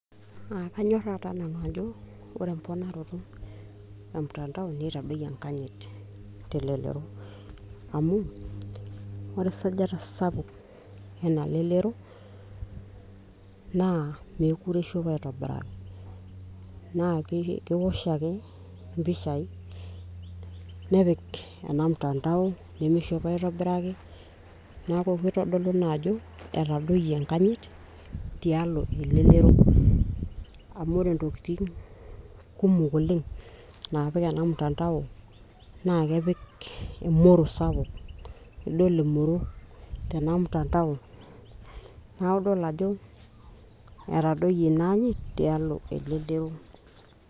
uh, kanyorra taa nanu ajo ore emponaroto e mtandao nitadoyie enkanyit telelero amu ore esajata sapuk ena lelero naa meekure ishopo aitobiraki naa kewosh ake impishai nepik ena mtandao nemishopo aitobiraki neeku kitodolu ina ajo etadoyoie enkanyit tialo elelero amu ore intokitin kumok oleng naapik ena mtandao naa kepik emoro sapuk nidol emoro tena mtandao neeku idol ajo etadoyie ina anyit tialo elelero.